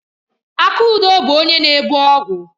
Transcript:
Akudo bu onye na-ebu ọgwụ.